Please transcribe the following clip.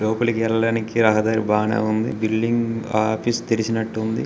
లోపలికి వెళ్ళడానికి రహదారి బాగానే ఉంది బిల్డింగ్ ఆ ఆఫీసు తెరిచినట్టు ఉంది.